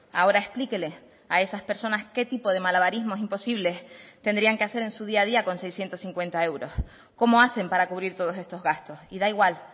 ahora explíquele a esas personas qué tipo de malabarismos imposibles tendrían que hacer en su día a día con seiscientos cincuenta euros cómo hacen para cubrir todos estos gastos y da igual